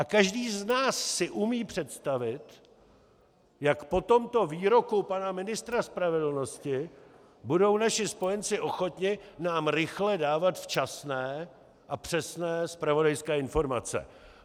A každý z nás si umí představit, jak po tomto výroku pana ministra spravedlnosti budou naši spojenci ochotni nám rychle dávat včasné a přesné zpravodajské informace.